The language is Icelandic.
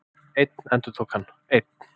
Einn, endurtók hann, einn.